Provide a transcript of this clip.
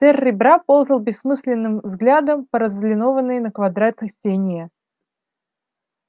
тёр ребра ползал бессмысленным взглядом по разлинованной на квадраты стене